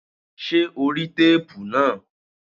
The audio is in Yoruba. Ṣé o rí téépù náà?